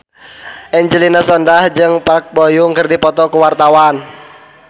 Angelina Sondakh jeung Park Bo Yung keur dipoto ku wartawan